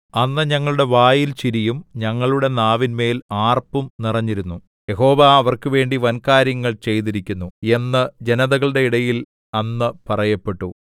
അന്ന് ഞങ്ങളുടെ വായിൽ ചിരിയും ഞങ്ങളുടെ നാവിന്മേൽ ആർപ്പും നിറഞ്ഞിരുന്നു യഹോവ അവർക്കുവേണ്ടി വൻകാര്യങ്ങൾ ചെയ്തിരിക്കുന്നു എന്ന് ജനതകളുടെ ഇടയിൽ അന്ന് പറയപ്പെട്ടു